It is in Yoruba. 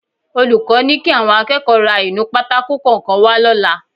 Olùkọ́ ni kí àwọn akẹ́kọ̀ọ́ ra inú pátákò kọ̀ọ̀kan wá lọ́la